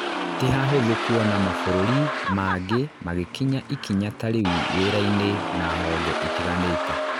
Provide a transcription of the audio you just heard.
tĩ hahuthu kũona mabũrũri mangĩ magĩkinya ikinya ta rĩu wĩra-ini na honge itiganĩte.